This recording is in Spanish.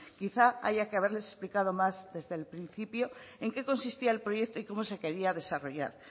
quizás haya que haberles explicado más desde el principio en qué consistía el proyecto y cómo se quería desarrollar